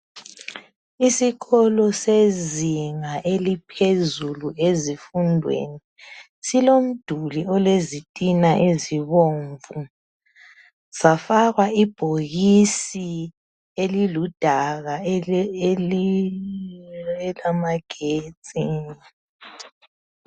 Isikolo sezinga eliphezulu ezifundweni .Silomduli ole zitina ezibomvu .Safakwa ibhokisi eliludaka elamagetsi .